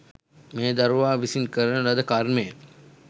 මේ දරුවා විසින් කරන ලද කර්මය